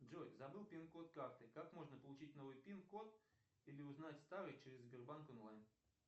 джой забыл пин код карты как можно получить новый пин код или узнать старый через сбербанк онлайн